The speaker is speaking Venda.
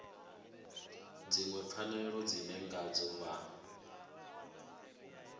dziṅwe pfanelo dzine ngadzo vha